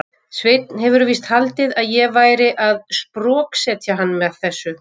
Sveinn hefur víst haldið að ég væri að sproksetja hann með þessu.